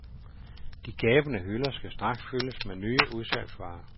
De gabende hylder skal straks fyldes med nye udsalgsvarer.